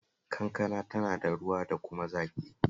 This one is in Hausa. Kankana tana ruwa da kuma zaƙi